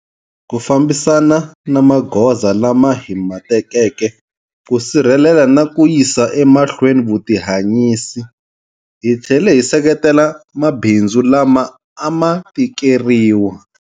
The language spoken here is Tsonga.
Ku fambisana na magoza lama hi ma tekeke ku sirhelela na ku yisa emahlweni vutihanyisi, hi tlhele hi seketela mabindzu lama a ma tikeriwa.